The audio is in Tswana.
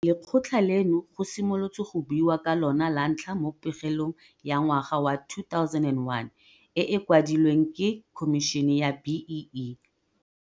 Lekgotla leno go simolotswe go buiwa ka lona lantlha mo pegelong ya ngwaga wa 2001 e e kwadilweng ke Khomišene ya BEE.